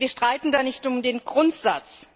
Wir streiten da nicht um den Grundsatz.